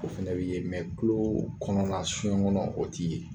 O fɛnɛ bi ye tuloo kɔnɔla sun ŋɔnɔ o ti ye.